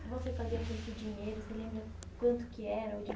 O que você fazia com esse dinheiro? Você se lembra quanto que o